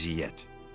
Əziyyət.